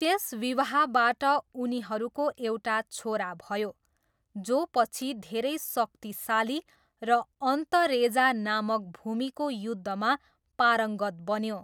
त्यस विवाहबाट, उनीहरूको एउटा छोरा भयो जो पछि धेरै शक्तिशाली र अन्तरेजा नामक भूमिको युद्धमा पारङ्गत बन्यो।